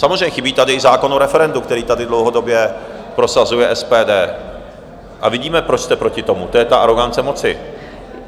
Samozřejmě chybí tady i zákon o referendu, který tady dlouhodobě prosazuje SPD, a vidíme, proč jste proti tomu - to je ta arogance moci.